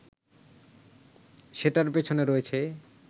সেটার পেছনে রয়েছে